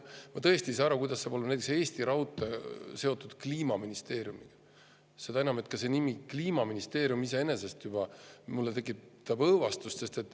Ma tõesti ei saa aru, kuidas saab olla näiteks Eesti Raudtee seotud Kliimaministeeriumiga, seda enam, et nimi Kliimaministeerium iseenesest juba tekitab minus õõvastust.